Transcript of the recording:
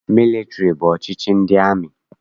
Mịlịtịrị bụ ọchịchị ndị amị.